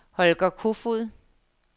Holger Kofoed